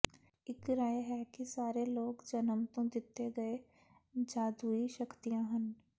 ਇੱਕ ਰਾਏ ਹੈ ਕਿ ਸਾਰੇ ਲੋਕ ਜਨਮ ਤੋਂ ਦਿੱਤੇ ਗਏ ਜਾਦੂਈ ਸ਼ਕਤੀਆਂ ਹਨ